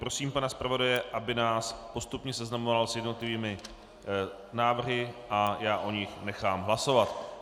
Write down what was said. Prosím pana zpravodaje, aby nás postupně seznamoval s jednotlivými návrhy a já o nich nechám hlasovat.